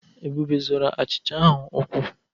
Ebube zorọ ochicha ahụ ụkwụ.